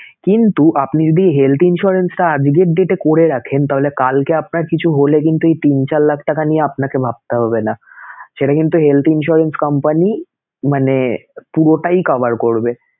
কিন্তু আপনি যদি health insurance টা আজকের date এ করে রাখেন তাহলে কালকে আপনার কিছু হলে কিন্তু এই তিন, চার লাখ টাকা নিয়ে আপনাকে ভাবতে হবে নাসেটা কিন্তু health insurance company মানে পুরোটাই cover করবে